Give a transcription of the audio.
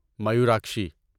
Mayurakshi